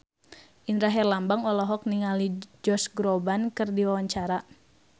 Indra Herlambang olohok ningali Josh Groban keur diwawancara